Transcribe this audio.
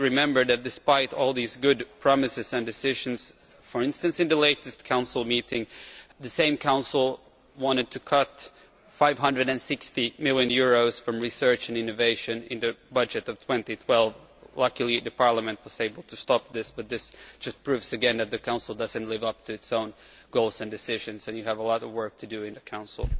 We have to remember that despite all these good promises and decisions for instance in the latest Council meeting the same Council wanted to cut EUR 560 million from research and innovation in the budget of 2012. Luckily the Parliament was able to stop this, but this just proves again that the Council does not live up to its own goals and decisions and you have much work to do in the Council.